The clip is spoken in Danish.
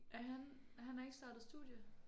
Er han han er ikke startet studie?